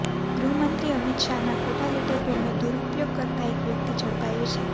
ગૃહમંત્રી અમિત શાહના ખોટા લેટરપેડનો દૂરપયોગ કરતા એક વ્યક્તિ ઝડપાયો છે